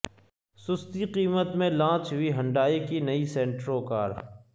سستی قیمت میں لانچ ہوئی ہنڈائی کی نئی سینٹرو کار